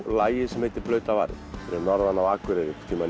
lagi sem heitir blautar varir fyrir norðan á Akureyri